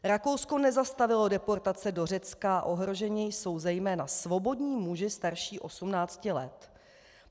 Rakouskou nezastavilo deportace do Řecka, ohroženi jsou zejména svobodní muži starší 18 let.